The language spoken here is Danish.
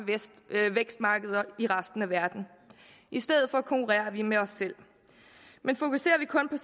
vækstmarkeder i resten af verden i stedet for konkurrerer vi med os selv men fokuserer man kun